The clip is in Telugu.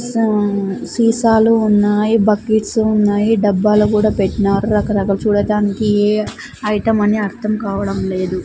సీసాలు ఉన్నాయి బకెట్స్ ఉన్నాయి డబ్బాలు కూడా పెట్టినారు రక రకాలు చూడటానికి ఏ ఐటమ్ అని అర్థం కావడం లేదు.